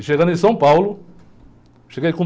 E chegando em São Paulo, cheguei com...